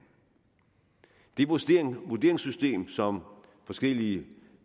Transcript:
det vurderingssystem som forskellige